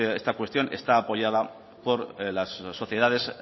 esta cuestión está apoyada por las sociedades